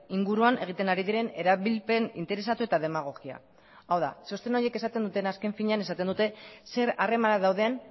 inguruan egiten ari diren erabilpen interesatu eta demagogia hau da txosten horiek esaten dutena azken finean esaten dute zer harreman dauden